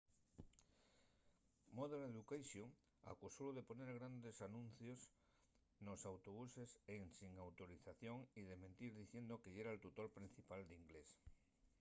modern education acusólu de poner grandes anuncies nos autobuses ensin autorización y de mentir diciendo que yera’l tutor principal d’inglés